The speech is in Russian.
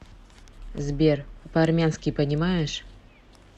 сбер по армянски понимаешь